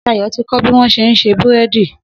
Sayọ̀ ti kọ́ bí wọ́n ṣé ń ṣe búrẹ́dì.